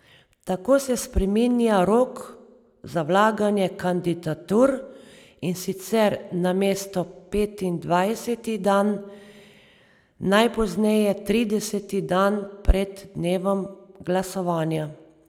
Tako se spreminja rok za vlaganja kandidatur, in sicer namesto petindvajseti dan najpozneje trideseti dan pred dnevom glasovanja.